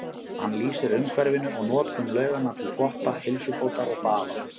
Hann lýsir umhverfinu og notkun lauganna til þvotta, heilsubótar og baða.